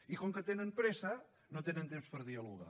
i com que tenen pressa no tenen temps per dialogar